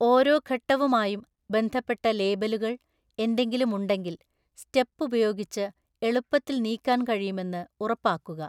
ഓരോ ഘട്ടവുമായും ബന്ധപ്പെട്ട ലേബലുകൾ, എന്തെങ്കിലും ഉണ്ടെങ്കിൽ, സ്റ്റെപ്പ് ഉപയോഗിച്ച് എളുപ്പത്തിൽ നീക്കാൻ കഴിയുമെന്ന് ഉറപ്പാക്കുക.